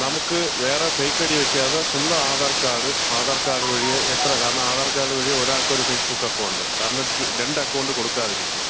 നമുക്ക് വേറെ fake ID വെക്കാതെ സ്വന്തം ആധാർ കാർഡ്, ആധാർ കാർഡ് വഴി എത്ര, കാരണം ആധാർ കാർഡ് വഴി ഒരാൾക്ക് ഒരു ഫേസ്ബുക്ക് അക്കൗണ്ട്. കാരണം രണ്ട് അക്കൗണ്ട് കൊടുക്കാതിരിക്കാ.